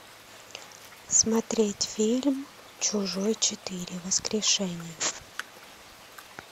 смотреть фильм чужой четыре воскрешение